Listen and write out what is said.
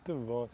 Muito bom.